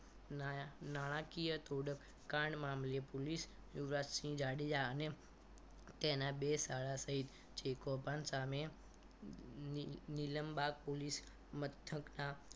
નાણા નાણાકીય તોડકાંડ મામલે પોલીસ યુવરાજસિંહ જાડેજા અને તેના બે સાળા સહિત જે કોઈ કૌભાંડ સામે નીલમ નીલમબાગ પોલીસ મથકના